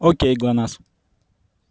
окей глонассс